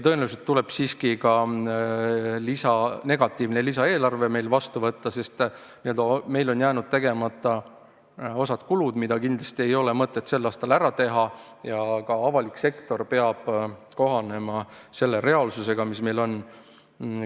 Tõenäoliselt tuleb meil siiski ka negatiivne lisaeelarve vastu võtta, sest meil on jäänud tegemata osa kulutusi, mida kindlasti ei ole mõtet sel aastal ära teha, ja ka avalik sektor peab kohanema selle reaalsusega, mis meil on.